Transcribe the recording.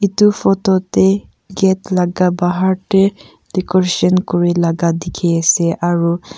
edu photo tae gate laka bahar tae decoration kurilaka dikhiase aro.